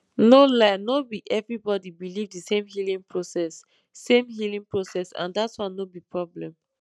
no lie no be everybody believe the same healing process same healing process and that one no be problem